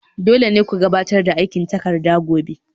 Dole ne ku gabatar da aikin takarda gobe